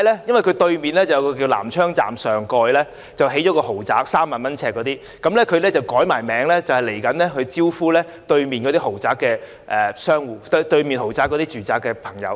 因為商場對面的南昌站上蓋興建了一個3萬元一平方呎的豪宅，而這商場易名就是要招待日後住在對面豪宅的居民。